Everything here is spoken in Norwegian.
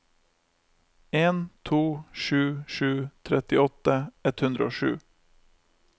en to sju sju trettiåtte ett hundre og sju